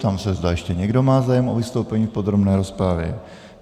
Ptám se, zda ještě někdo má zájem o vystoupení v podrobné rozpravě.